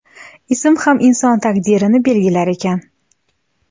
Ism ham inson taqdirini belgilar ekan.